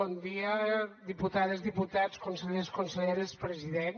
bon dia diputades diputats consellers conselleres president